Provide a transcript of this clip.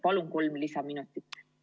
Palun kolm lisaminutit!